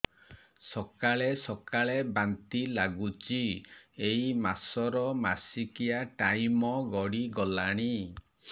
ସକାଳେ ସକାଳେ ବାନ୍ତି ଲାଗୁଚି ଏଇ ମାସ ର ମାସିକିଆ ଟାଇମ ଗଡ଼ି ଗଲାଣି